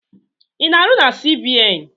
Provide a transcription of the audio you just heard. I na-arụ na CBN?